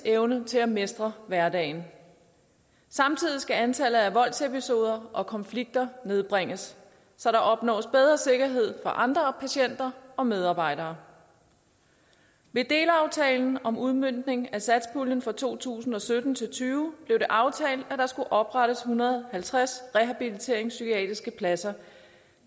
evne til at mestre hverdagen samtidig skal antallet af voldsepisoder og konflikter nedbringes så der opnås bedre sikkerhed for andre patienter og medarbejdere ved delaftalen om udmøntning af satspuljen for to tusind og sytten til og tyve blev det aftalt at der skulle oprettes en hundrede og halvtreds rehabiliteringspsykiatriske pladser